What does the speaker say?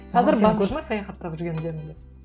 саяхаттап жүргендеріңді